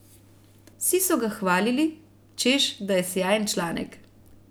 Vsi so ga hvalili, češ da je sijajen članek.